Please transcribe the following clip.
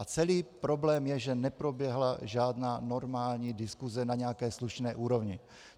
A celý problém je, že neproběhla žádná normální diskuse na nějaké slušné úrovni.